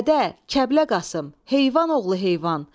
Ədə, Kərbəlayı Qasım, heyvan oğlu heyvan.